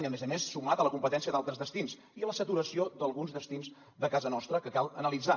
i a més a més sumat a la competència d’altres destins i la saturació d’alguns destins de casa nostra que cal analitzar